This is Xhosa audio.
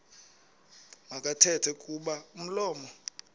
makathethe kuba umlomo